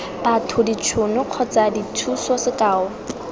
batho ditšhono kgotsa dithuso sekao